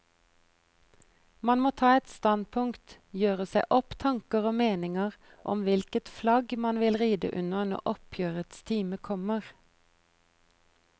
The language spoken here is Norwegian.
Man må ta et standpunkt, gjøre seg opp tanker og meninger om hvilket flagg man vil ride under når oppgjørets time kommer.